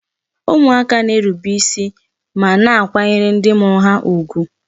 Ụmụaka na-erube isi ma na akwanyere ndị mụrụ ha ugwu